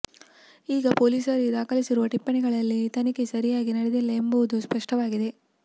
ಈಗ ಪೊಲೀಸರೇ ದಾಖಲಿಸಿರುವ ಟಿಪ್ಪಣಿಗಳಲ್ಲಿ ತನಿಖೆ ಸರಿಯಾಗಿ ನಡೆದಿಲ್ಲ ಎಂಬುದು ಸ್ಪಷ್ಟವಾಗಿದೆ